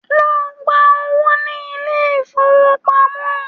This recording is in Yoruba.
Lọ gba owó ní ilé-ìfowópamọ́.